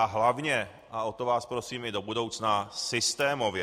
A hlavně - a o to vás prosím i do budoucna - systémově.